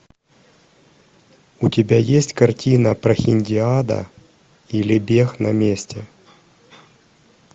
у тебя есть картина прохиндиада или бег на месте